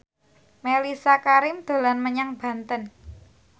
Mellisa Karim dolan menyang Banten